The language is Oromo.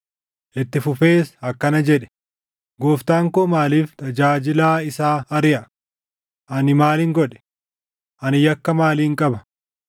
Itti fufees akkana jedhe; “Gooftaan koo maaliif tajaajilaa isaa ariʼa? Ani maalin godhe? Ani yakka maalin qaba?